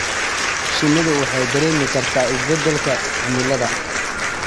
Shinnidu waxay dareemi kartaa isbeddelka cimilada.